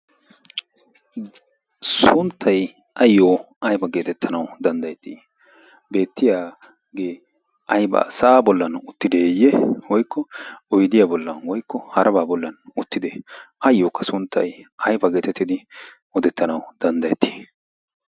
sunttay ayyo aifa geetettanau danddayettii? beettiyaagee ai ba sa'aa bollan uttideeyye woykko oydiyaa bollan woykko harabaa bollan uttide ayyookka sunttai aifa geetettidi odettanau danddayettii?